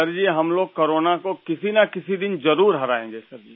sir ji हम लोग corona को किसीनकिसी दिन जरुर हराएंगे सर जी